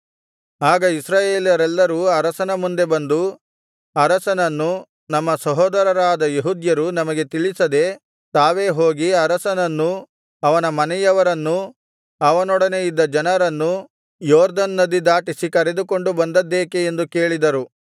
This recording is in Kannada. ಆಗ ಇಸ್ರಾಯೇಲರೆಲ್ಲರೂ ಅರಸನ ಮುಂದೆ ಬಂದು ಅವನನ್ನು ನಮ್ಮ ಸಹೋದರರಾದ ಯೆಹೂದ್ಯರು ನಮಗೆ ತಿಳಿಸದೆ ತಾವೆ ಹೋಗಿ ಅರಸನನ್ನೂ ಅವನ ಮನೆಯವರನ್ನೂ ಅವನೊಡನೆ ಇದ್ದ ಜನರನ್ನೂ ಯೊರ್ದನ್ ನದಿ ದಾಟಿಸಿ ಕರೆದುಕೊಂಡು ಬಂದದ್ದೇಕೆ ಎಂದು ಕೇಳಿದರು